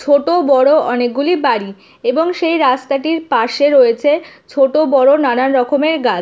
ছোট বড়ো অনেক গুলি বাড়ি এবং সেই রাস্তাটির পাশে রয়েছে ছোট বড়ো নানান রকমের গাছ।